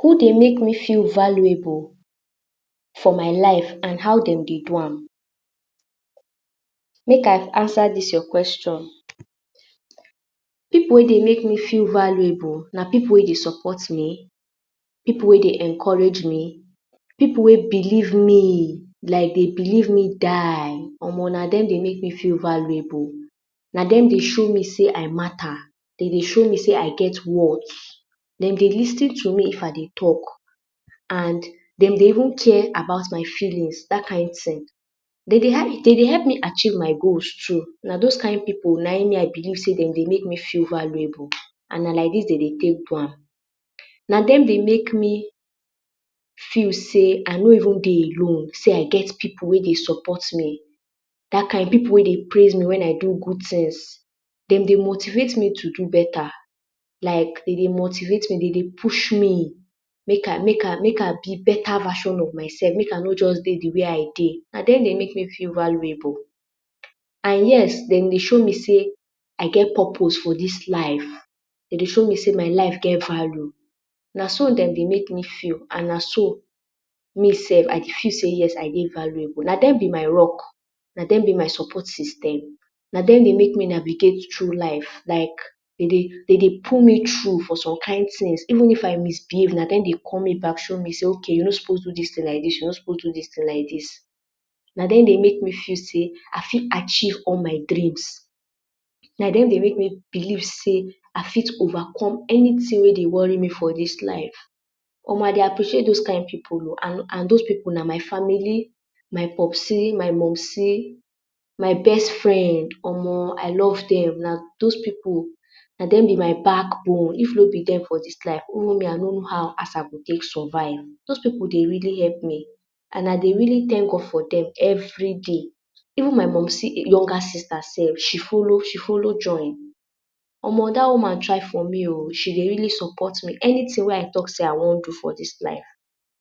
Who dey make me feel valuable for my life and how dem dey do am make I answer dis your question. pipu wey dey make me feel valuable na pipu wey dey support me, pipu wey dey encourage me, pipu wey believe me like dey believe me die Omo na dem dey make me feel valuable na dem dey show me sey I mata dem dey show me sey I get worth dem dey lis ten to me if I dey talk and dem dey even care about my feelings dat kind ting dem dey dem dey help me achieve my goals too na those kind pipu na him me I believe sey dey make me feel valuable and na like dis dem dey take do am na dem dey make me feel sey I no even dey alone sey I get pipu wey dey support me dat kind ting pipu wey dey praise me when I do good tings dem dey motivate me to do beta like dem dey motivate me dem dey push me make I make I make I be beta version of myself make i no just be dey d way I dey na dem dey make me feel valuable and yes dem dey show me sey I get purpose for dis life dem dey show me sey my life get value na so dem dey make me feel and na so me sef I dey feel sey I dey valuable but na dem be my rock na dem dem be my support system na dem dey make me navigate through life like dem dey dem dey put me through for some kind tings even if I misbehave na dem dey call me back show me sey you no suppose do dis ting like dis you no suppose do dis ting like dis na dem dey make me feel sey I fit achieve all my dreams na dem dey make me belief sey I fit overcome anyting wey dey worry me for dis life omo I dey appreciate those kind pipu o and those pipu na family my popsy my mumsy my best friend. Omo I love them Iike those pipu na dem be my backbone if no be them for dis life even me I no even for know how I for survive those pipu dey really help me and I dey really thank God for them everyday even my mumsy younger sister sef she follow she follow join Omo dat woman try for me oo she dey really support me anyting wey I talk sey I wan do for dis life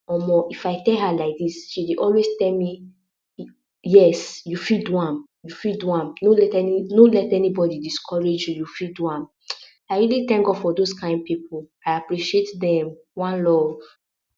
omo if I tell her like dis she dey always tell me yes you fit do am you fit do am no let any no let anybody discourage you you fit do am I really thank God for those pipu I appreciate them one love